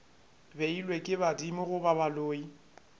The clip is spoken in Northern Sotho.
beilwego ke badimo goba baloi